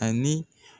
Ani